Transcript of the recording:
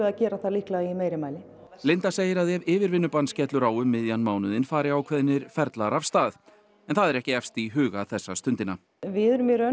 að gera það í meira mæli segir að ef yfirvinnubann skellur á um miðjan mánuðinn fari ákveðnir ferlar af stað en það er ekki efst í huga þessa stundina við erum